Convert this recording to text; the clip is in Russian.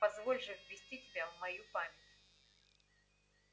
позволь же ввести тебя в мою память